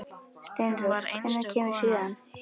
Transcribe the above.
Steinrós, hvenær kemur sjöan?